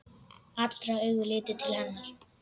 Allra augu litu til hennar.